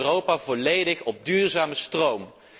Het kan Europa volledig op duurzame stroom.